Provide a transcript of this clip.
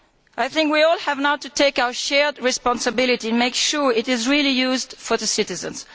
I think we all have now to take our shared responsibility and make sure it is really used for the citizens.